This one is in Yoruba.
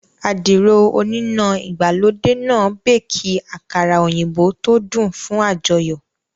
Àdìrò oníná ìgbàlódé náà béékì àkàrà òyìnbó tó dùn fún àjọyọ̀